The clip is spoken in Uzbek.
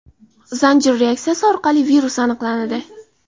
zanjir reaksiyasi orqali virus aniqlanadi.